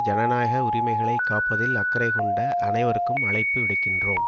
ஜனநாயக உரிமைகளை காப்பதில் அக்கறைகொண்ட அனைவருக்கும் அழைப்பு விடுக்கின்றோம்